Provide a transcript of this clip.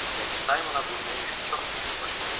Yəni Saymona bu mülk çox ucuz başa gəlmişdi.